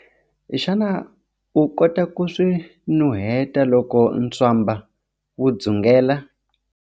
Xana u kota ku swi nuheta loko ntswamba wu dzungela?